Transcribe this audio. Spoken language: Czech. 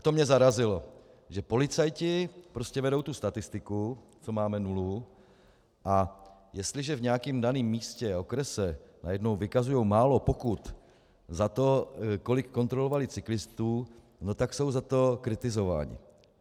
A to mě zarazilo, že policajti prostě vedou tu statistiku, co máme nulu, a jestliže v nějakém daném místě a okrese najednou vykazují málo pokut za to, kolik kontrolovali cyklistů, no tak jsou za to kritizováni.